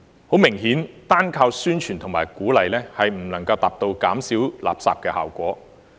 很明顯，單靠宣傳和鼓勵，並不能達到減少垃圾的效果。